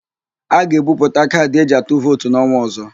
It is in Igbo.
A ga-ebuputa kaadị eji atụ vootu n'ọnwa ọ̀zó.